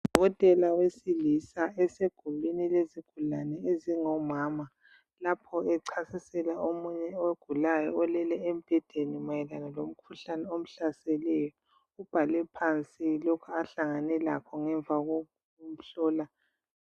Owesilisa esegumbini lezigulane ezingomama lapho echasisela omunye ogulayo olele embhedeni, mayelana lomkhuhlane omhlaseleyo ubhale phansi lokhu ahlangane lakho ngemva kokumhlola.